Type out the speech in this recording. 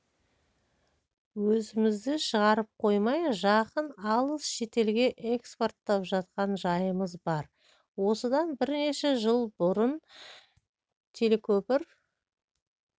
өзімізде шығарып қоймай жақын алыс шетелге экспорттап жатқан жайымыз бар осыдан бірнеше жыл бұрын телекөпір